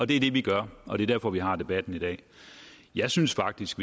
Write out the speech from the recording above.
det er det vi gør og det er derfor vi har debatten i dag jeg synes faktisk